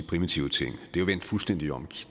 primitive ting det er jo vendt fuldstændig om